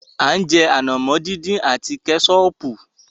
A ń jẹ ànàmọ́ dín dín àti Kẹ́sọọ̀pù.